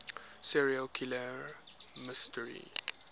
serial killer mystery